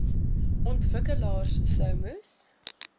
ontwikkelaars sou moes